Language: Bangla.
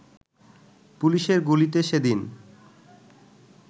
পুলিশের গুলিতে সেদিন